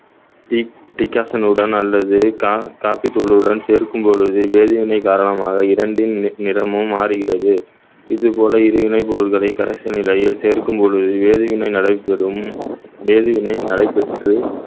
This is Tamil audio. டிக்~ டிகாஷனுடன் அல்லது கா~ காபித்தூளுடன் சேர்க்கும் பொழுது வேதிவினை காரணமாக இரண்டின் நி~ நிறமும் மாறுகிறது இது போல இரு வினை பொருட்களை கரைசல் நிலையில் சேர்க்கும் பொழுது வேதிவினை நடைபெறும் வேதிவினை நடைபெற்று